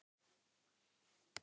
Hann Gutti?